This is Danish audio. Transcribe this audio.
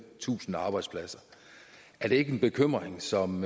tusind arbejdspladser er det ikke en bekymring som